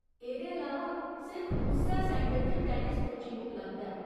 एह्दे अलावा, सिर्फ उस्सै सैंटर च टैनिस कोचिंग उपलब्ध ऐ।